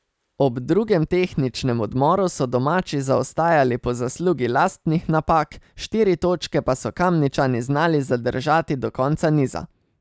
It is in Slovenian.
Ob drugem tehničnem odmoru so domači zaostajali po zaslugi lastnih napak, štiri točke pa so Kamničani znali zadržati do konca niza.